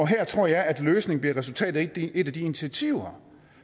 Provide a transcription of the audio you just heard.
her tror jeg at løsningen bliver resultatet af et af de initiativer